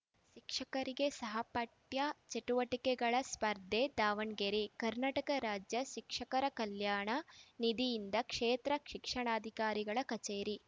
ಶಿಕ್ಷಕರಿಗೆ ಸಹಪಠ್ಯ ಚಟುವಟಿಕೆಗಳ ಸ್ಪರ್ಧೆ ದಾವಣಗೆರೆ ಕರ್ನಾಟಕ ರಾಜ್ಯ ಶಿಕ್ಷಕರ ಕಲ್ಯಾಣ ನಿಧಿಯಿಂದ ಕ್ಷೇತ್ರ ಶಿಕ್ಷಣಾಧಿಕಾರಿಗಳ ಕಚೇರಿ